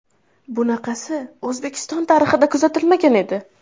Bunaqasi O‘zbekiston tarixida kuzatilmagan edi!